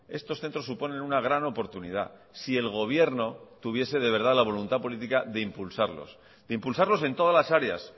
estos centros suponen una gran oportunidad si el gobierno tuviese de verdad la voluntad política de impulsarlos en todas las áreas